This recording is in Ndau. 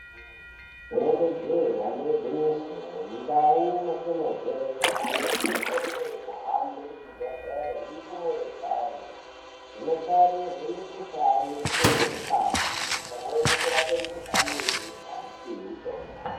Rinenge je damba igwinyiso mundau matibva antu anokurudzirwa kuhambe muzvibhedhlera nendumurwa dzayo vanotarirwa mikuhlani votorwa ngazi pamweni kurapwa mukuhlani webesha nekupihwa mutombo.